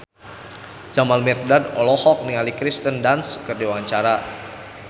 Jamal Mirdad olohok ningali Kirsten Dunst keur diwawancara